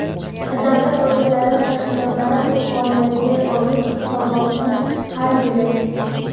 davlat organlari va tashkilotlari o‘z faoliyatiga oid hisobotni har yili:.